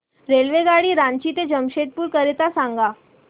रेल्वेगाडी रांची ते जमशेदपूर करीता सांगा